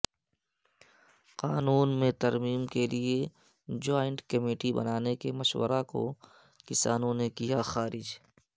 قانون میں ترمیم کے لیے جوائنٹ کمیٹی بنانے کے مشورہ کو کسانوں نے کیا خارج